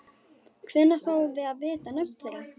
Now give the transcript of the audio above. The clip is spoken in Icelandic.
Hvenær fáum við að vita nöfn þeirra?